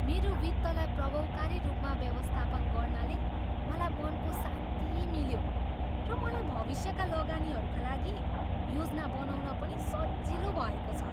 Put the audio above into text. मेरो वित्तलाई प्रभावकारी रूपमा व्यवस्थापन गर्नाले मलाई मनको शान्ति मिल्यो र मलाई भविष्यका लगानीहरूका लागि योजना बनाउन पनि सजिलो भएको छ।